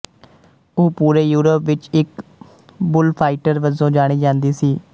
ਉਹ ਪੂਰੇ ਯੂਰਪ ਵਿੱਚ ਇਕ ਬੁੱਲਫਾਈਟਰ ਵਜੋਂ ਜਾਣੀ ਜਾਂਦੀ ਸੀ